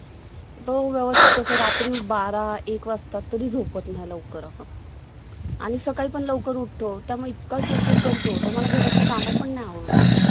ते कोळवामध्ये श्रीगोंद्यात घ्या श्रीगोंद्यात पुढं फायदा आहे.